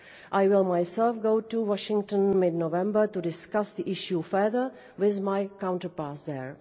I will myself go to Washington in mid-November to discuss the issue further with my counterparts there.